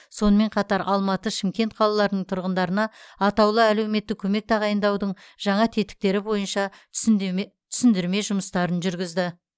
сонымен қатар алматы шымкент қалаларының тұрғындарына атаулы әлеуметтік көмек тағайындаудың жаңа тетіктері бойынша түсіндірме жұмыстарын жүргізді